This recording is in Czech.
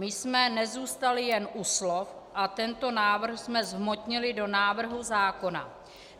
My jsme nezůstali jen u slov a tento návrh jsme zhmotnili do návrhu zákona.